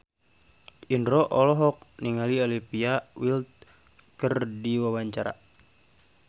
Indro olohok ningali Olivia Wilde keur diwawancara